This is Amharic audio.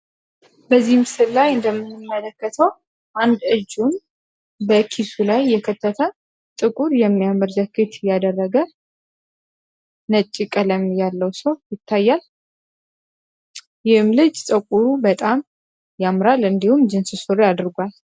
በዚህ ላይ እንደምመለከተው አንድ እጁን ላይ የከተማ ጥቁር የሚያመርዘች እያደረገ ነጭ ቀለም ያለው ሰው ይታያል ልጅ ፀጉሩ በጣም ያምራል እንዲሁም ጅንስ አድርጓል